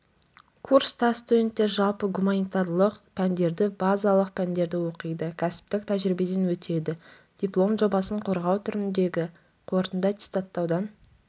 курста студенттер жалпы гуманитарлық пәндерді базалық пәндерді оқиды кәсіптік тәжірибеден өтеді диплом жобасын қорғау түріндегі қорытынды аттестаттаудан